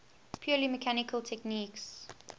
purely mechanical techniques